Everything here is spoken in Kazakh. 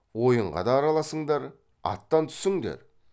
ойынға да араласыңдар аттан түсіңдер